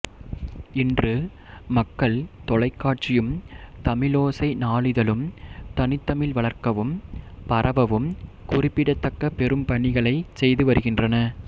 இன்று மக்கள் தொலைக்காட்சியும் தமிழோசை நாளிதழும் தனித்தமிழ் வளர்க்கவும் பரவவும் குறிப்பிடத் தக்க பெரும்பணிகளைச் செய்து வருகின்றன